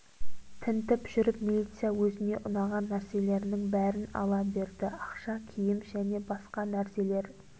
тінтіп жүріп милиция өзіне ұнаған нәрселерінің бәрін ала берді ақша киім және басқа нәрселер